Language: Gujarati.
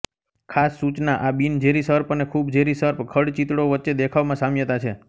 ખાસ સૂચના આ બિનઝેરી સર્પ અને ખુબ ઝેરી સર્પ ખડચિતળો વચ્ચે દેખાવમાં સામ્યતા છે